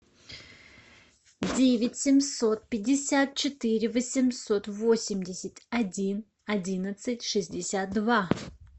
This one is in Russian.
девять семьсот пятьдесят четыре восемьсот восемьдесят один одиннадцать шестьдесят два